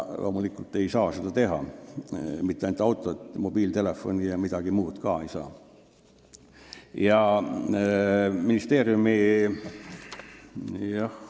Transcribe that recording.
Loomulikult ei saa ta seda teha – mitte ainult autot ei saa osta, mobiiltelefoni ja midagi muud ka mitte.